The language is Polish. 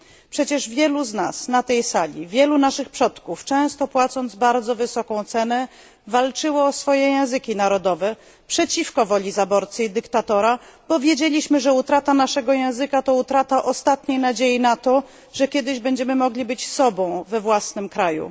Przecież wielu z nas na tej sali, wielu naszych przodków często płacąc bardzo wysoką cenę walczyło o swoje języki narodowe przeciwko woli zaborcy i dyktatora, bo wiedzieliśmy, że utrata naszego języka to utrata ostatniej nadziei na to, że kiedyś będziemy mogli być sobą we własnym kraju.